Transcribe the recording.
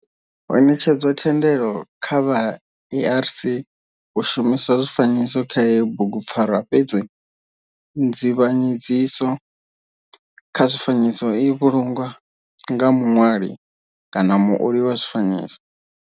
Ho netshedzwa thendelo kha vha ARC u shumisa zwifanyiso kha heyi bugu pfarwa fhedzi nzivhanyedziso kha zwifanyiso i vhulungwa nga muṋwali kana muoli wa zwifanyiso.